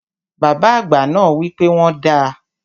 Bàbá àgbà náà wi pe wọ́n dàá.